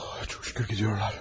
Ah, çox şükür gedirlər.